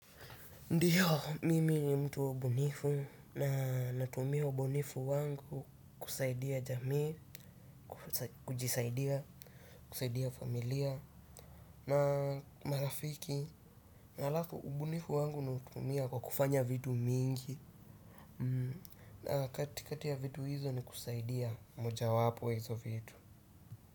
Ndiyo, mimi ni mtu wa ubunifu na natumia ubunifu wangu kusaidia jamii, kujisaidia, kusaidia familia na marafiki na alafu ubunifu wangu natumia kwa kufanya vitu mingi na katikati ya vitu hizo ni kusaidia moja wapo hizo vitu.